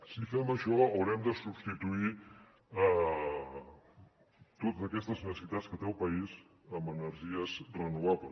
si fem això haurem de substituir totes aquestes necessitats que té el país amb energies renovables